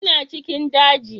Ina cikin daji